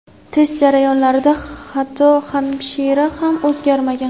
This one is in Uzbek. test jarayonlarida hatto hamshira ham o‘zgarmagan.